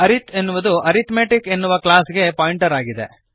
ಅರಿತ್ ಎನ್ನುವುದು ಅರಿಥ್ಮೆಟಿಕ್ ಎನ್ನುವ ಕ್ಲಾಸ್ ಗೆ ಪಾಯಿಂಟರ್ ಆಗಿದೆ